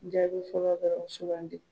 Jaabi fɔlɔ dɔrɔn sugandi.